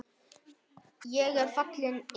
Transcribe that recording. Ég er fallinn engill.